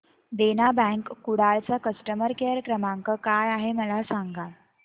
देना bank Kudal चा customer care क्रमांक काय आहे मला सांगा